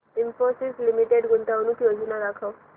Infosys limited गुंतवणूक योजना दाखव